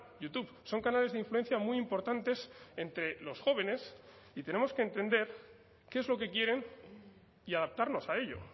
youtube son canales de influencia muy importantes entre los jóvenes y tenemos que entender qué es lo que quieren y adaptarnos a ello